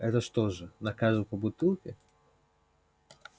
это что же на каждого по бутылке